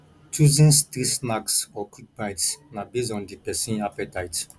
choosing street snacks or quick bites na based on di persin appetite